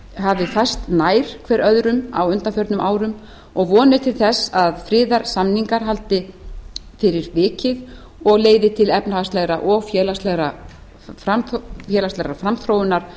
hafi færst nær hver öðrum á undanförnum árum og von er til þess að friðarsamningar haldi fyrir vikið og leiði til efnahagslegrar og félagslegrar framþróunar